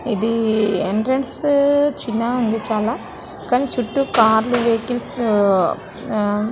ఇది ఎంట్రన్స్ చిన్నగా ఉంది. చాలా కానీ చుట్టూ కార్లు వెహికల్స్ ఆ --